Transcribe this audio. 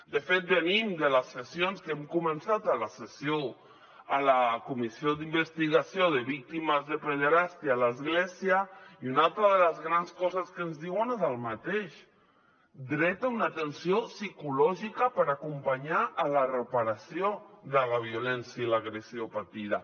de fet venim de les sessions que hem començat a la comissió d’investigació sobre la pederàstia a l’església i una altra de les grans coses que ens diuen és el mateix dret a una atenció psicològica per acompanyar la reparació de la violència i l’agressió patida